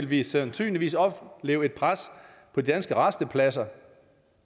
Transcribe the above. vi sandsynligvis opleve et pres på de danske rastepladser